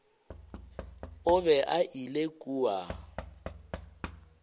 o be a ile kua